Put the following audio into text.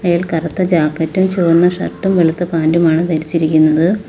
അയാൾ കറുത്ത ജാക്കറ്റും ചുവന്ന ഷർട്ടും വെളുത്ത പാന്റുമാണ് ധരിച്ചിരിക്കുന്നത്.